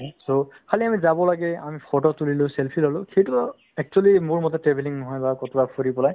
so, খালী আমি যাব লাগে আমি photo তুলিলো selfie ল'লো সেইটোও actually মোৰ মতে travelling নহয় বা ক'ৰবাত ফুৰি পেলাই